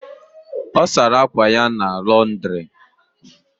O sara akwa ya na Londiri